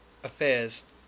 affairs